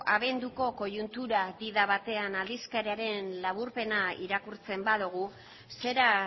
abenduko koiuntura di da batean aldizkariaren laburpena irakurtzen badugu zera